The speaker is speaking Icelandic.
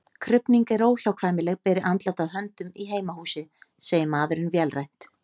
Krufning er óhjákvæmileg beri andlát að höndum í heimahúsi, segir maðurinn vélrænt.